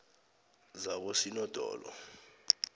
zakosinodolo